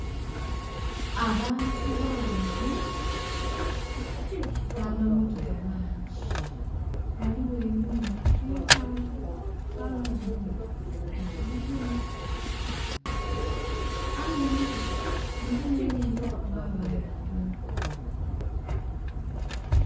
Abantu bangi n'amammotoka mangi. Ghaligho enhumba empanvu ghabagho enhumba entontono. Aye emmotoka mulimu enhenhe mwabamu entono